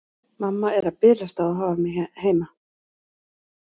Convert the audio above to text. Mamma er að bilast á að hafa mig heima.